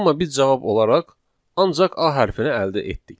Amma biz cavab olaraq ancaq A hərfini əldə etdik.